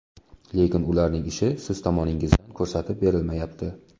Lekin ularning ishi siz tomoningizdan ko‘rsatib berilmayapti.